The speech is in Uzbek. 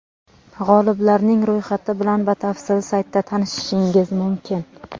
G‘oliblarning ro‘yxati bilan batafsil saytda tanishishingiz mumkin.